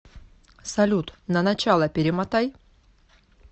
салют на начало перемотай